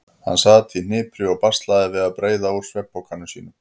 Hann sat í hnipri og baslaði við að breiða úr svefnpokanum sínum.